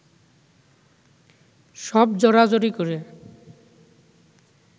সব জড়াজড়ি করে